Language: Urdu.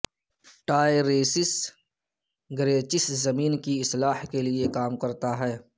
ٹائییریسس گریچس زمین کی اصلاح کے لئے کام کرتا ہے